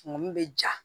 Mun bɛ ja